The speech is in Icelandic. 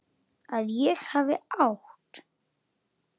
Að ég hafi átt.?